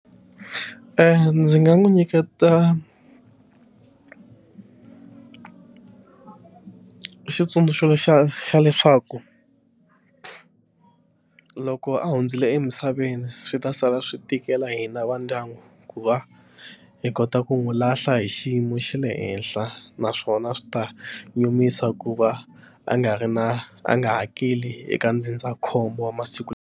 Ndzi nga n'wi nyiketa xitsundzuxo xa xa leswaku loko a hundzile emisaveni swi ta sala swi tikela hina va ndyangu ku va hi kota ku n'wi lahla hi xiyimo xa le henhla naswona swi ta nyumisa ku va a nga ri na a nga hakeli eka ndzindzakhombo wa masiku lawa.